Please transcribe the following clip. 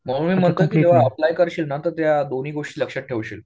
म्हणून मी म्हणतो ना की तू अप्लाय करशील ना तर त्या दोन्ही गोष्टी लक्षात ठेवशील